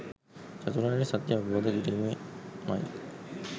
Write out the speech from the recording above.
චතුරාර්ය සත්‍යය අවබෝධ කිරීමෙන් මයි.